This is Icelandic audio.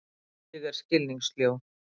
Ég er skilningssljó.